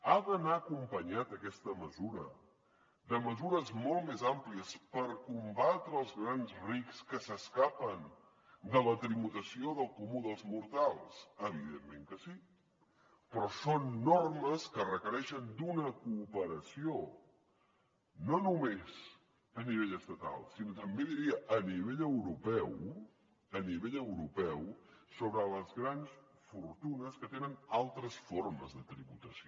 ha d’anar acompanyada aquesta mesura de mesures molt més àmplies per combatre els grans rics que s’escapen de la tributació del comú dels mortals evidentment que sí però són normes que requereixen una cooperació no només a nivell estatal sinó també diria a nivell europeu a nivell europeu sobre les grans fortunes que tenen altres formes de tributació